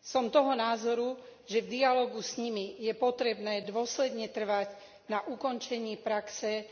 Som toho názoru, že v dialógu s nimi je potrebné dôsledne trvať na ukončení praxe